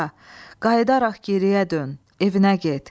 qayıdaraq geriyə dön, evinə get.